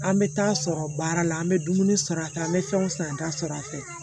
An bɛ taa sɔrɔ baara la an bɛ dumuni sɔrɔ a kan an bɛ fɛnw san an ta sɔrɔ a fɛ